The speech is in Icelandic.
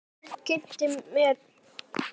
Örn kynnti fyrir mér herra